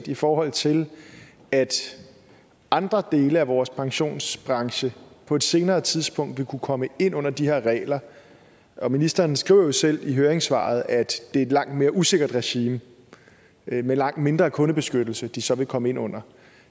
i forhold til at andre dele af vores pensionsbranche på et senere tidspunkt vil kunne komme ind under de her regler ministeren skriver jo selv i høringssvaret at det er et langt mere usikkert regime med langt mindre kundebeskyttelse som de så vil komme ind under